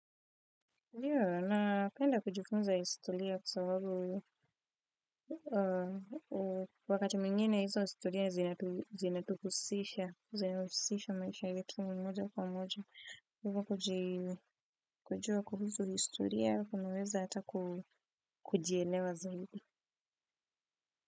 Na penda kujifunza historia kwa sababu wakati mwingine izo historia zinatuhusisha, zinahusisha maisha yetu moja kwa moja. Kuji kujua kuhusu historia, kunaweza ata ku kujielewa zaidi.